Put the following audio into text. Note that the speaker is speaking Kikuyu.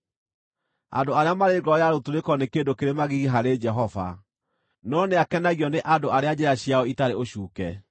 Andũ arĩa marĩ ngoro ya rũtũrĩko nĩ kĩndũ kĩrĩ magigi harĩ Jehova, no nĩakenagio nĩ andũ arĩa njĩra ciao itarĩ ũcuuke.